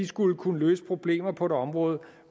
skulle kunne løse problemer på et område